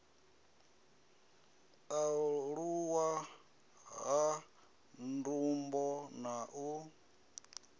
aluwa ha ndumbo na u